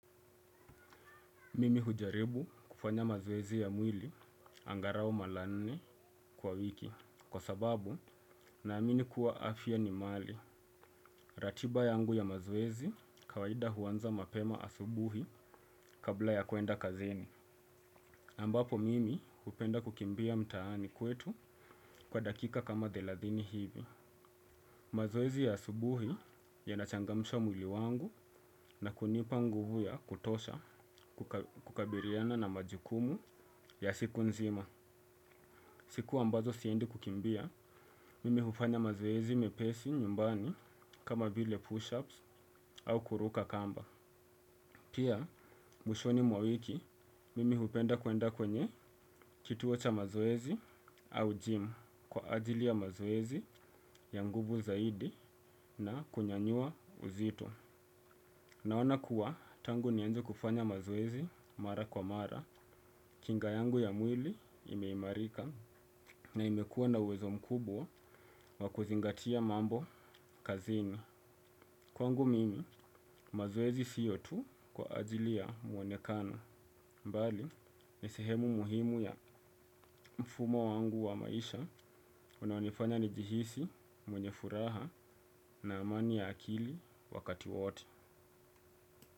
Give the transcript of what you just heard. Mimi hujaribu kufanya mazoezi ya mwili angalau mara nne kwa wiki kwa sababu naamini kuwa afya ni mali. Ratiba yangu ya mazoezi kawaida huanza mapema asubuhi kabla ya kuenda kazini. Ambapo mimi hupenda kukimbia mtaani kwetu kwa dakika kama thelathini hivi. Mazoezi ya asubuhi yanachangamsha mwili wangu na kunipa nguvu ya kutosha kukabiliana na majukumu ya siku nzima. Siku ambazo siendi kukimbia, mimi hufanya mazoezi mepesi nyumbani kama vile push-ups au kuruka kamba. Pia, mwishoni mwa wiki, mimi hupenda kuenda kwenye kituo cha mazoezi au gym kwa ajili ya mazoezi ya nguvu zaidi na kunyanyua uzito. Naona kuwa tangu nianze kufanya mazoezi mara kwa mara, kinga yangu ya mwili imeimarika na imekuwa na uwezo mkubwa wa kuzingatia mambo kazini. Kwangu mimi mazoezi sio tu kwa ajili ya mwonekano, mbali ni sehemu muhimu ya mfumo wangu wa maisha unaonifanya nijihisi mwenye furaha na amani ya akili wakati wote.